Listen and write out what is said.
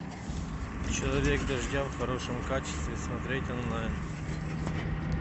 человек дождя в хорошем качестве смотреть онлайн